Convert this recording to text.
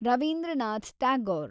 Ravindranath Tagore